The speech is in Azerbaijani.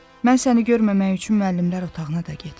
Mən səni görməmək üçün müəllimlər otağına da getmirəm.